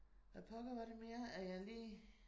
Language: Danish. Hvad pokker var det mere at jeg lige